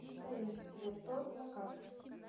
союзцветторг на карте